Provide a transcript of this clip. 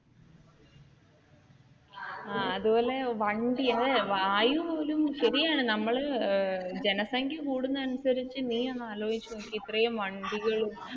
അതുപോലെ വണ്ടിയല്ലേ വായു ഒരു ശരിയാണ് നമ്മൾ ജനസംഖ്യ കൂടുന്നത്, അനുസരിച്ചു നീയൊന്ന് ആലോചിച്ചു നോക്കിക്കേ ഇത്രയും വണ്ടികളും